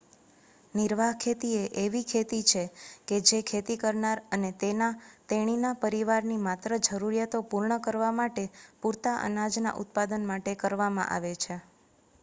નિર્વાહ ખેતી એ એવી ખેતી છે કે જે ખેતી કરનાર અને તેના/તેણીના પરિવારની માત્ર જરૂરિયાતો પૂર્ણ કરવા માટે પુરતા અનાજના ઉત્પાદન માટે કરવામાં આવે છે